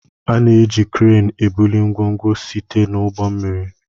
A na-eji kreenu ebuli ngwongwo site n'ụgbọ mmiri.